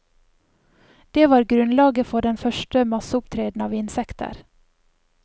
Det var grunnlaget for den første masseopptreden av insekter.